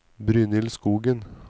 Brynhild Skogen